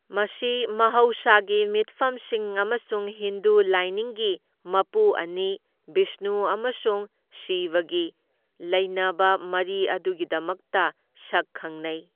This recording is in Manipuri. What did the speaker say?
ꯃꯁꯤ ꯃꯍꯧꯁꯥꯒꯤ ꯃꯤꯠꯐꯝꯁꯤꯡ ꯑꯃꯁꯨꯡ ꯍꯤꯟꯗꯨ ꯂꯥꯏꯅꯤꯡꯒꯤ ꯃꯄꯨ ꯑꯅꯤ, ꯕꯤꯁꯅꯨ ꯑꯃꯁꯨꯡ ꯁꯤꯕꯒꯤ ꯂꯩꯅꯕ ꯃꯔꯤ ꯑꯗꯨꯒꯤꯗꯃꯛꯇ ꯁꯛ ꯈꯪꯅꯩ꯫